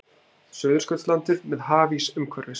Suðurskautslandið með hafís umhverfis.